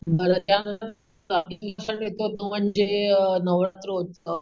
मला त्यानंतर तो म्हणजे नवरात्र उत्सव.